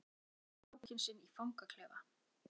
Að hugsa sér strákinn sinn í fangaklefa?